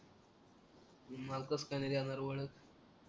मग कस काय ना देणार ओळख